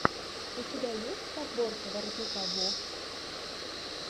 у тебя есть подборка воротника вовс